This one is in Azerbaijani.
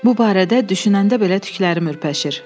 Bu barədə düşünəndə belə tüklərim ürpəşir.